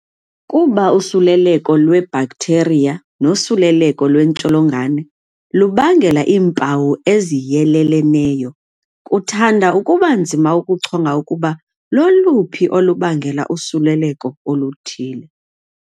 Kuba usuleleko lwebhaktheriya nosuleleko lwentsholongwane lubangela iimpawu eziyeleleneyo, kuthanda ukubanzima ukuchonga ukuba loluphi olubangele usuleleko oluthile.